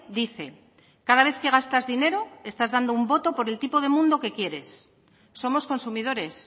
dice cada vez que gastas dinero estás dando un voto por el tipo de mundo que quieres somos consumidores